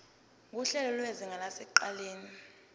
nguhlelo lwezinga lasekuqaleni